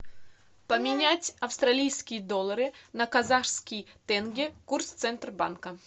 поменять австралийские доллары на казахские тенге курс центробанка